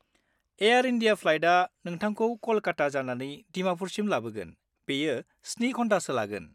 Air India फ्लाइटआ नोंथांखौ क'लकाता जानानै दिमाफुरसिम लाबोगोन, बेयो 7 घन्टासो लागोन।